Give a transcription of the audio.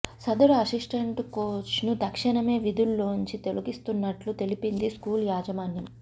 సదరు అసిస్టెంట్ కోచ్ను తక్షణమే విధుల్లోంచి తొలగిస్తున్నట్టు తెలిపింది స్కూల్ యాజమాన్యం